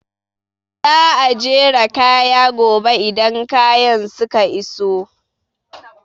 Za a jera kaya gobe idan kayan suka iso